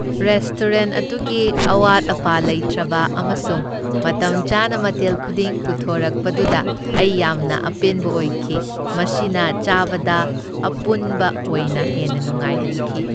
Restaurant ꯑꯗꯨꯒꯤ ꯑꯋꯥꯠ ꯑꯄꯟ ꯂꯩꯇ꯭ꯔꯕ ꯑꯃꯁꯨꯡ ꯃꯇꯝꯆꯥꯅ ꯃꯊꯦꯜ ꯈꯨꯗꯤꯡ ꯄꯨꯊꯣꯛꯔꯛꯄꯗꯨꯗ ꯑꯩ ꯌꯥꯝꯅ ꯑꯄꯦꯟꯕ ꯑꯣꯏꯈꯤ, ꯃꯁꯤꯅ ꯆꯥꯕꯗ ꯑꯄꯨꯟꯕ ꯑꯣꯏꯅ ꯍꯦꯟꯅ ꯅꯨꯡꯉꯥꯏꯍꯟꯈꯤ ꯫